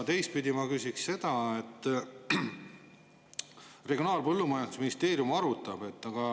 Teistpidi ma küsin selle kohta, et Regionaal‑ ja Põllumajandusministeerium seda arutab.